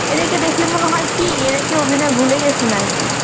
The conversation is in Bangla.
এদেরকে দেখলে মনে হয় কি এরা কি অভিনয় ভুলে গেসে না আরকি